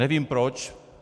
Nevím, proč.